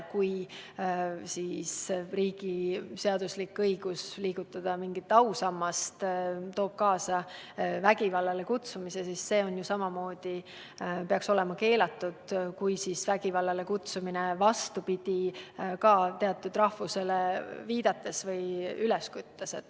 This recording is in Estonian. Kui riigi seaduslik õigus liigutada ausammast toob kaasa vägivallale kutsumise, siis see peaks samamoodi olema keelatud, ja ka vastupidi – vägivallale kutsumine teatud rahvusele viidates või selle vastu üles küttes.